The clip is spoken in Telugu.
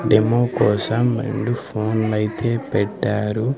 డెమో కోసం రెండు ఫోన్లు అయితే పెట్టారు.